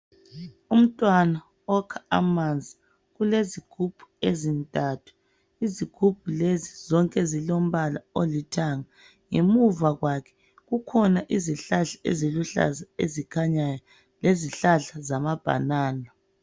Umntwana okha amanzi. Ulezigubhu ezintathu. Izigubhu lezi zonke zilombala olithanga. Ngemuva kwakhe kukhona izihlahla eziluhlaza ezikhanyayo, lezihlahla zamabhanana.